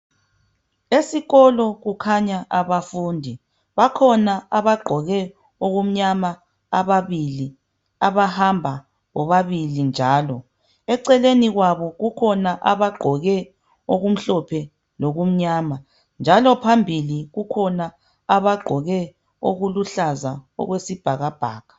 Esikolo kukhanya abafundi bakhona abagqoke okumnyama ababili abahamba bobabili njalo eceleni kwabo kukhona abagqoke okumhlophe lokumnyama njalo phambili kukhona abagqoke okuluhlaza okwesibhakabhaka.